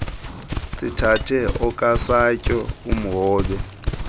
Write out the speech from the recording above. sithathe okasatyo umhobe